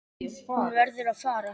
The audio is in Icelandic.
Hún verður að fara.